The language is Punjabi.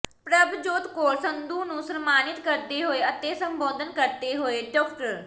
ਪ੍ਰਭਜੋਤ ਕੌਰ ਸੰਧੂ ਨੂੰ ਸਨਮਾਨਿਤ ਕਰਦੇ ਹੋਏ ਅਤੇ ਸੰਬੋਧਨ ਕਰਦੇ ਹੋਏ ਡਾ